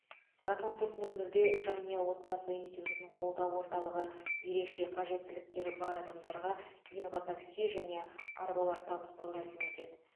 сағат он төрт нөл нөлде жанұя отбасы институтын қолдау орталығы ерекше қажеттіліктері бар адамдарға инватакси және арбалар табыстау рәсімі өтеді